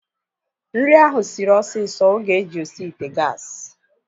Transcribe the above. Nri ahu sịrị osisi oge e ji osi ite gaasi